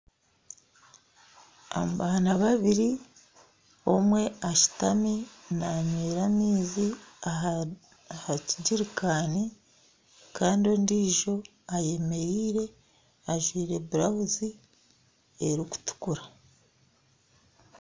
Abaana babiri omwe ashutami nanywera amaizi aha kigyerikani kandi ondiijo eyemereire ajwaire burawuzi erikutukura